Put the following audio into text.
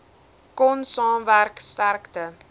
kon saamwerk sterkte